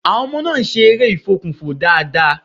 Àwọn ọmọ náà ń́ ṣe eré ìfokùnfò dáadáa.